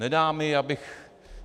Nedá mi, abych...